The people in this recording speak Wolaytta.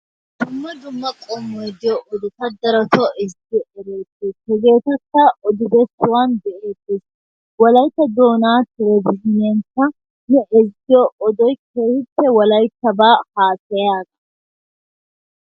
Dumma dumma qomoy diyo odota darotoo ezzigiidi deetees. Hegeetakka odibesuwan be'eetees. Wolaytta doonaa televizhzhiineekka odiyo odoy keehiippe wolaytabaa haasayiyaagaa.